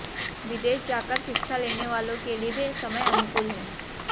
विदेश जाकर शिक्षा लेने वालों के लिए भी समय अनुकूल है